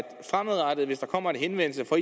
hvis der fremadrettet kommer en henvendelse fra